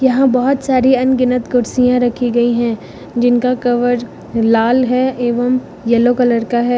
यहां बहोत सारी अनगिनत कुर्सियां रखी गई है जिनका कवर लाल है एवं येलो कलर का है।